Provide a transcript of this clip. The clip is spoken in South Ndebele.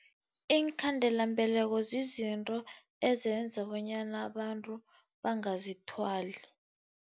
Iinkhandelambeleko zizinto ezenza bonyana abantu bangazithwali.